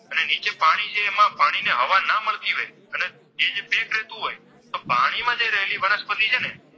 રહેતું હોય પાણી માં જે રહેલી વનસ્પતિ છે ને